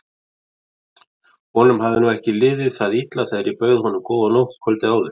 Honum hafði nú ekki liðið það illa þegar ég bauð honum góða nótt kvöldið áður.